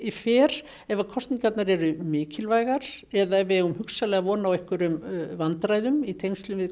fer ef kosningarnar eru mikilvægar eða ef við eigum hugsanlega von á einhverjum vandræðum í tengslum við